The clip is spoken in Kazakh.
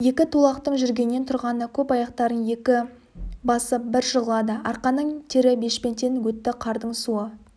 екі тулақтың жүргенінен тұрғаны көп аяқтарын екі басып бір жығылады арқаның тері бешпенттен өтті қардың суы